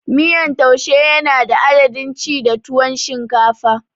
Miyan taushi yana da dadin ci da tuwon shinkafa